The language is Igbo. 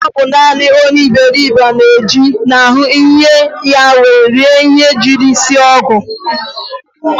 Ọ bụ naanị onye iberibe na-eji n'ihi enyi ya were rie ihe e jiri sie ngọ